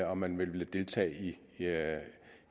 om man vil deltage i